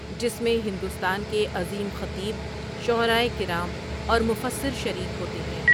جس میں ہندوستان کے عظیم خطیب، شعرائے کرام اور مفسر شریک ہوتے ہیں ۔